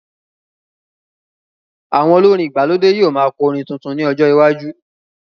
Àwọn olórin ìgbàlódé yóò máa kọ orin tuntun ní ọjọ iwájú